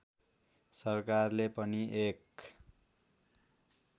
सरकारले पनि एक